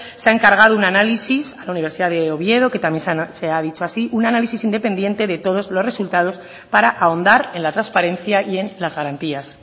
se ha encargado un análisis a la universidad de oviedo que también se ha dicho así un análisis independiente de todos los resultados para ahondar en la transparencia y en las garantías